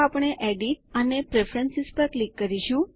તો આપણે એડિટ અને પ્રેફરન્સ પર ક્લિક કરીશું